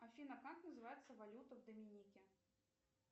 афина как называется валюта в доминике